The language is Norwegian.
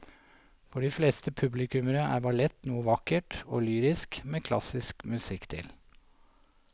For de fleste publikummere er ballett noe vakkert og lyrisk med klassisk musikk til.